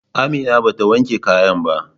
Amina bata wanke kayan ba.